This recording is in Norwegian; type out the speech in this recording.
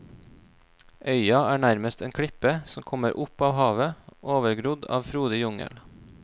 Øya er nærmest en klippe som kommer opp av havet, overgrodd av frodig jungel.